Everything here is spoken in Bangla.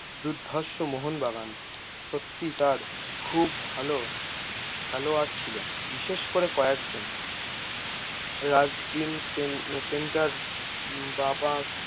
দুর্ধারশো মোহন বাগান, সত্যি তার খুব ভালো খেলোয়ার ছিল বিশেষ করে কয়েকজন রাজ দিন সেন সেন্টার বা পা